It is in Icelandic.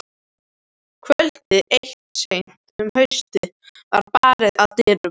Kvöld eitt seint um haustið var barið að dyrum.